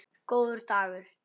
Góður dagur